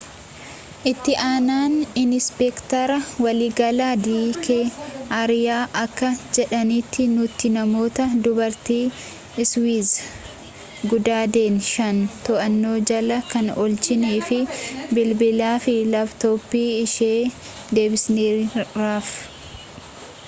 itti aanaan inispeektara waliigalaa dii kee ariya akka jedhanitti nuti namoota dubartii iswiiz gudeedan shan to'annoo jala kan oolchinee fi bilbilaa fi laaptooppii ishee deebisneeraafi